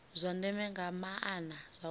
zwa ndeme nga maana zwauri